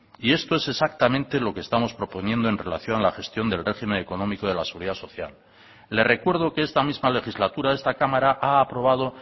y esto es exactamente lo que estamos proponiendo en relación a la gestión del régimen económico de la seguridad social le recuerdo que esta misma legislatura esta cámara ha aprobado